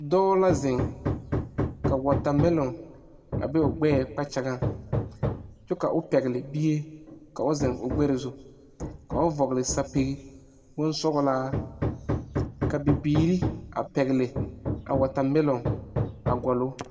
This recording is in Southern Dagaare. Doɔ la zeŋ ka watamɛlon a be o gbɛɛ kpakyagaŋ. Kyɛ ka o pɛgle bie ka o zeŋ o gbɛre zu. Ka o vogle sapige boŋ sɔglaa. Ka bibiire a pɛgle a watamelon a gɔluŋ o